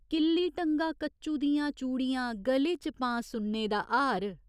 किल्ली टंगां कच्चु दियां चूड़िया गले च पां सुन्ने दा हार।